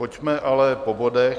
Pojďme ale po bodech.